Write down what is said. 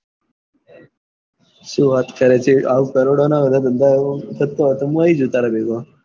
શું વાત કરે છે અવ કરોડો માં બધા ધંધા કરતો હોય તો હું આવી જાઉં તાર ભેગો